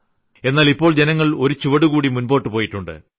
എന്നാൽ ഇപ്പോൾ ജനങ്ങൾ ഒരു ചുവട്കൂടി മുൻപോട്ട് പോയിട്ടുണ്ട്